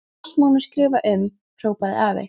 Allt má nú skrifa um, hrópaði afi.